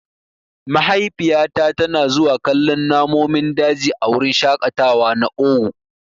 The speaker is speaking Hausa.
Mahaifiyata tana zuwa kallon namonin daji a wurin shaƙatawa na owu.